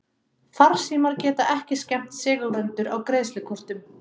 Farsímar geta ekki skemmt segulrendur á greiðslukortum.